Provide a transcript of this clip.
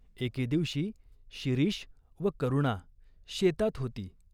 एके दिवशी शिरीष व करुणा शेतात होती.